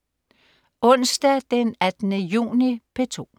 Onsdag den 18. juni - P2: